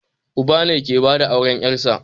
Uba ne ke bada auren ƴarsa